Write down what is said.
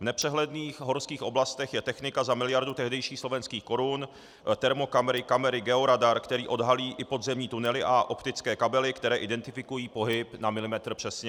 V nepřehledných horských oblastech je technika za miliardu tehdejších slovenských korun, termokamery, kamery, georadar, který odhalí i podzemní tunely, a optické kabely, které identifikují pohyb na milimetr přesně.